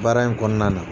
Baara in kɔnɔna na